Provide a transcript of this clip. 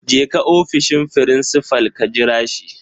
Jeka ofishin frincifal. ka jira shi